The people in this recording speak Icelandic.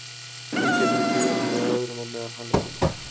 Hún getur ekki verið með öðrum á meðan hann er líka.